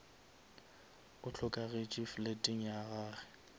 o hlokagetše fleteng ya gage